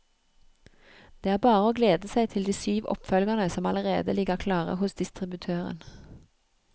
Det er bare å glede seg til de syv oppfølgerne som allerede ligger klare hos distributøren.